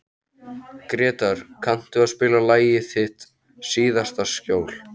Gretar, kanntu að spila lagið „Þitt síðasta skjól“?